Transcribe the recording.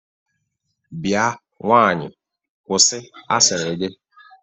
Bia nwaanyị kwụsi asịrị gị!